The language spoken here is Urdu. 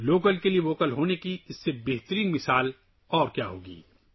لوکل کے لیے آواز اٹھانے کی اس سے اچھی مثال کیا ہو سکتی ہے؟